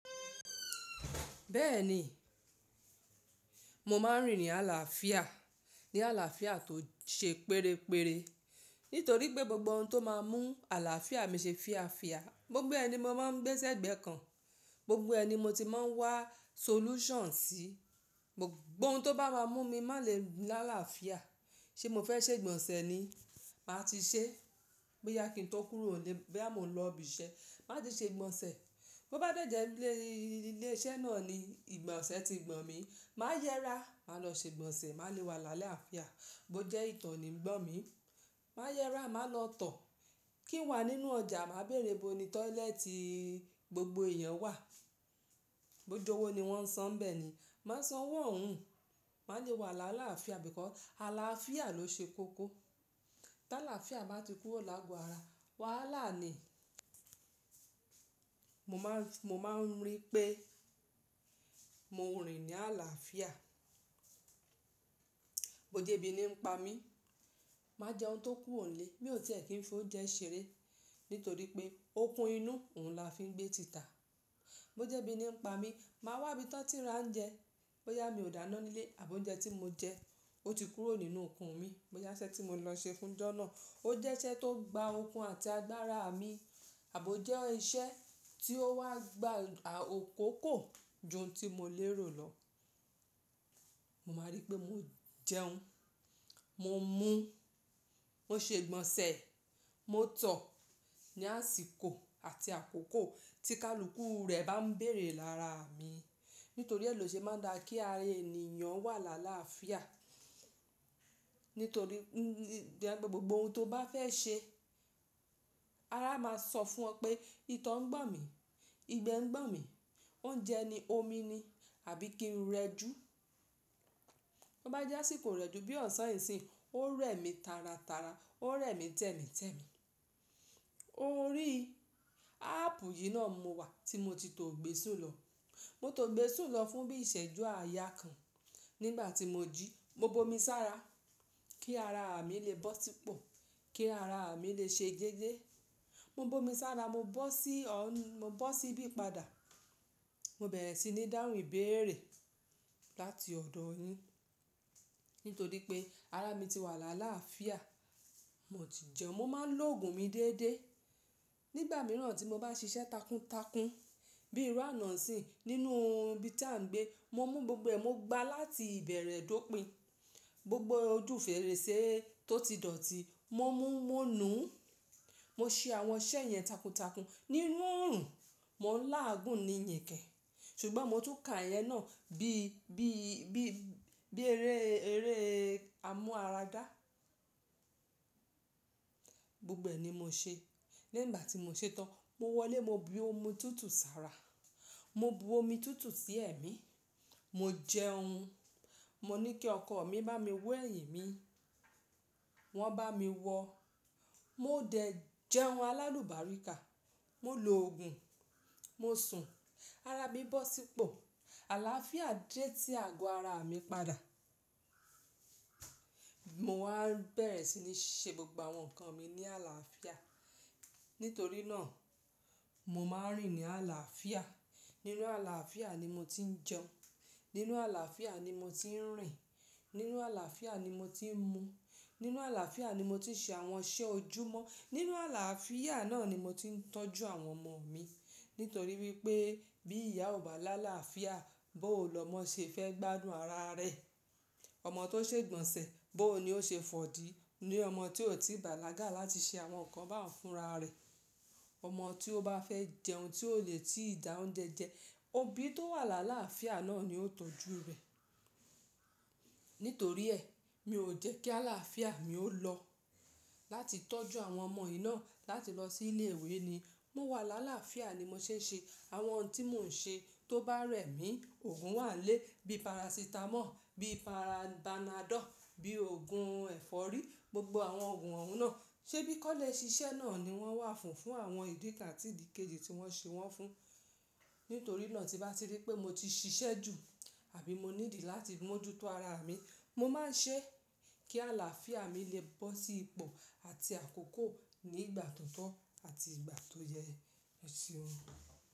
Bẹ́ẹ̀ni, mo máa ń rìn ní àlàáfíà, ní àlàáfíà tó ṣe pérépere, nítorí pé gbogbo ohun tó máa ń mú àlàáfíà mi ṣe fiafia. Gbogbo ẹ̀ ni mo máa ń gbé ẹ́ sí ẹ̀gbẹ́ kan, gbogbo ẹ̀ ni mo ti máa ń wá solution sí, gbogbo ohun tó bá máa mú mi má lè láàáfíà. Ṣé mo fẹ́ ṣe ìgbọ̀nsẹ̀ ni? Màá ti ṣe. Bóyá kí n tó kúrò nílé boya mo n lọ ibi iṣẹ́, máa ti ṣe ìgbọ̀nsẹ̀. Bo bá dẹ̀jẹ̀ ilé iṣẹ́ náà ni ìgbọ̀nsẹ̀ ti gbọ̀n mí, màá yẹra, màá lọ ṣe ìgbọ̀nsẹ̀, màá le wà lálafia Bo jẹ́ ìto ni ń gbọ̀n mí, màá yẹra, màá lọ tọ̀. Kí n wà nínú ọjà, màá bèèrè bo ni toileti gbogbo èèyàn wà. Bo jowó ni wọ́n n san bẹ́ẹ̀ ni. Má san wọ́n ohun, màá le wà lálaafia nítorí pé àlàáfíà ló ṣe kókó. Tí àlàáfíà bá ti kúrò lágo ara. Wàhálà ni. Mo máa ń rí i pé mo rìn ní àlàáfíà. Bo jẹ́ ebí ni ń pa mí, màá jẹun to kúrò nílé, bí ọ̀tí ẹ̀ kí n fi oúnjẹ ṣeré, nítorí pé okun inú òun la fi ń gbé tìtà. Bo jẹ́ bí ni ń pa mí, màá wá ibi tí wọ́n ti ń ra oúnjẹ, bóyá mi ò dáná nílé àbo oúnjẹ tí mo jẹ ó ti kúrò nínú okun mi, bóyá iṣẹ́ tí mo lọ ṣe fún jọ́nà ó jẹ́ iṣẹ́ tó gba okun àti agbára à mi, àbo jẹ́ iṣẹ́ tí ó wá gba akókó ju ohun tí mo lérò lọ. Mo máa rí i pé mo jẹun, mo mú, mo ṣe ìgbọ̀nsẹ̀, mo tọ̀ ní àsìkò àti àkókò tí káàlùkù rẹ̀ bá ń bèèrè lára mi. Nítorí èlò ṣe máa ń dá kí ará ènìyàn wà lálaafia. Nítorí gbogbo ohun tó bá fẹ́ ṣe, ara máa sọ fún ọ pé ìto ń gbọ̀n mí, igbe ń gbọ̀n mí, oúnjẹ ni, omi ni, àbí kí n rẹ jù. Bo bá jẹ́ àsìkò ireju bí ọ̀sán ìsìn, ó rẹ̀ mí tàràtàrà, ó rẹ̀ mí tẹ́mitẹ́mi. Orí áàpù yìí náà ni mo wà tí mo ti tò gbé sùn lọ. Mo tò gbé sùn lọ fún bí ìṣẹ́jú àyà kan nígbà tí mo jí, mo bo mi sára kí ara à mi lè bọ́ sípò, kí ara à mi lè ṣe gege. Mo bo mi sára, mo bọ́ sí, mo bọ́ sí ibi padà. Mo bẹ̀rẹ̀ sí ní dáhùn ìbéèrè láti ọ̀dọ̀ yín. Nítorí pé ara mi ti wà lálaafia. Mo ti jẹun, mo máa ń lo òògùn mi déédéé. Nígbà mìíràn tí mo bá ṣiṣẹ́ takuntakun bí irú àná nsiyi, nínú ibi tí à ń gbé, mo mú gbogbo ẹ̀, mo gbá láti ìbẹ̀rẹ̀ dópìn. Gbogbo ojú fèrèsé tó ti dọ̀tí, mo mú, mo nùú, mo ṣe àwọn iṣẹ́ yẹn takuntakun. Nínú òòrùn, mo n láàgùn ní yèké, ṣùgbọ́n mo tún ka ìyẹn náà bí, bí, bí, bí eré, eré amú ara dá. Gbogbo ẹ̀ ni mo ṣe. Lẹ́yin igbá tí mo ṣe tán, mo wọlé mo bu omi tútù sára. Mo bu omi tútù sí ẹ̀mí. Mo jẹun. Mo ní kí ọkọ mi bá mi wọ́ ẹ̀yìn mi. Wọ́n bá mi wọ. Mo dẹ̀ jẹun alálùbáríkà. Mo lo òògùn, mo sùn, ara mi bọ́ sípò. Àlàáfíà dẹ̀ sí àgọ́ ara mi padà. Mo wá bẹ̀rẹ̀ sí ní ṣe gbogbo àwọn nǹkan mi ní àlàáfíà. Nítorí náà mo máa ń rìn ní àlàáfíà. Nínú àlàáfíà ni mo ti ń jẹun. Nínú àlàáfíà ni mo ti ń rìn. Nínú àlàáfíà ni mo ti ń mú. Nínú àlàáfíà ni mo ti ń ṣe àwọn iṣẹ́ ojúmọ́. Nínú àlàáfíà náà ni mo ti ń tọ́jú àwọn ọmọ mi. Nítorí wípé bí ìyá ò bá là làlàáfíà, bó o lọ mọ́ ṣe fẹ́ gbádùn ara rẹ̀. Ọmọ tó ṣe ìgbọ̀nsẹ̀, bóò ni ó ṣe fọ̀dí. Ni ọmọ tí ò tíì bàlágà láti ṣe àwọn nǹkan bá òun fúnra rẹ̀. Ọmọ tí ó bá fẹ́ jẹun tí ò lè tí ìdá oúnjẹ jẹ, òbí tó wà làlàáfíà náà ni ó tọ́jú rẹ̀. Nítorí ẹ́, mi ò jẹ́ kí àlàáfíà mi ó lọ láti tọ́jú àwọn ọmọ yìí náà láti lọ sí ilé ìwé ni. Mo wà lálaafíà ni mo ṣe ń ṣe àwọn ohun tí mò ń ṣe tó bá rẹ̀ mí. Òògùn wà nlé bí parasitamọ́ọ̀, bí panado, bí òògùn ẹ̀fọ́rí, gbogbo àwọn òògùn oun náà, ṣé bí kọ́lẹ̀ ṣíṣẹ́ náà ni wọ́n wà fún, fún àwọn ìdí kán àti ìdí kejì tí wọ́n ṣe wọ́n fún. Nítorí náà tí nbá ti rí pé mo ti ṣiṣẹ́ jù àbí mo ní idì láti mójútó ara mi, mo máa ń ṣe kí àlàáfíà mi lè bọ́ sí ipò àti àkókò ní ìgbà tó tọ́ àti ìgbà tó yẹ eseun.